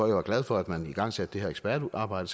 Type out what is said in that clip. jeg var glad for at man igangsatte det her ekspertarbejde